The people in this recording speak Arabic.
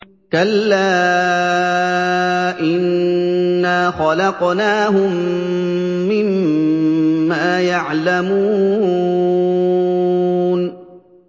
كَلَّا ۖ إِنَّا خَلَقْنَاهُم مِّمَّا يَعْلَمُونَ